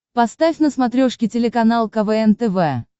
поставь на смотрешке телеканал квн тв